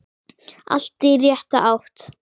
Allt í rétta átt.